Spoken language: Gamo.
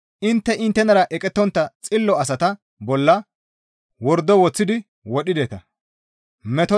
Intte inttenara eqettontta xillo asata bolla wordo woththidi wodhideta.